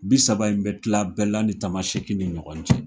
Bi saba in bɛ tila Bɛɛla ni Tamasɛki ni ɲɔgɔn cɛ.